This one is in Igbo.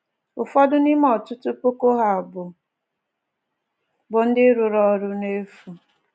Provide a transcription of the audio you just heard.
Ụfọdụ n’ime ọtụtụ puku ha bụ bụ ndị rụrụ ọrụ n'efu"